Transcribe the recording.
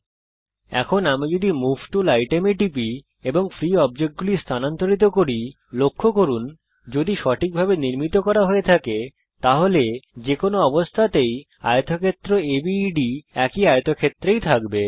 এখন আমি যদি মুভ টুল আইটেম এ টিপি এবং ফ্রী অবজেক্টগুলি স্থানান্তরিত করি লক্ষ্য করুন যদি সঠিক ভাবে নির্মিত করা হয়ে থাকে তাহলে যে কোনো অবস্থাতেই আয়তক্ষেত্র আবেদ একটি আয়তক্ষেত্রই থাকবে